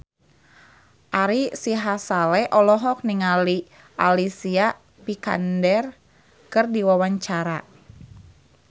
Ari Sihasale olohok ningali Alicia Vikander keur diwawancara